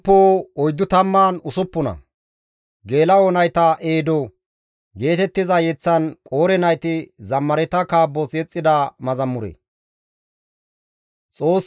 Xoossi nuni shiiqi attizasonne nuus wolqqa; nuna metoy gakkiza wode maaddanaas izi ubbato matan dees.